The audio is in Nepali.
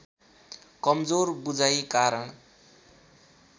कमजोर बुझाइ कारण